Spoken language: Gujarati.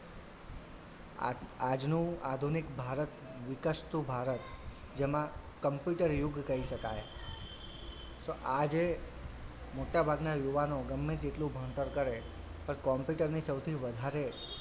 આ આજનું આધુનિક ભારત વિકસતું ભારત જેમાં computer યુગ કહીં શકાય તો આ જે મોટાભાગનાં યુવાનો ગમે તેટલું ભણતર કરે પણ computer ની સૌથી વધારે,